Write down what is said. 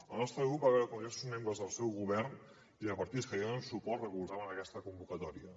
el nostre grup va veure com diversos membres del seu govern i de partits que li donen suport recolzaven aquesta convocatòria